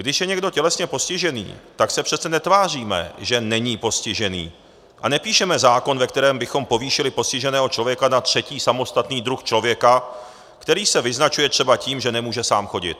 Když je někdo tělesně postižený, tak se přece netváříme, že není postižený, a nepíšeme zákon, ve kterém bychom povýšili postiženého člověka na třetí samostatný druh člověka, který se vyznačuje třeba tím, že nemůže sám chodit.